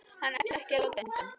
Hann ætlar ekki að láta undan.